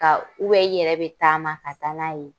Ka u bɛ i yɛrɛ be taama kaa n'a ye